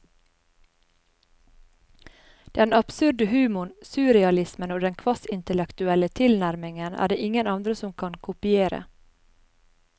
Den absurde humoren, surrealismen og den kvasiintellektuelle tilnærmingen er det ingen andre som kan kopiere.